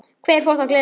Hvert fór þá gleðin?